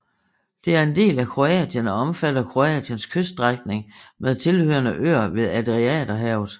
Det er en del af Kroatien og omfatter Kroatiens kyststrækning med tilhørende øer ved Adriaterhavet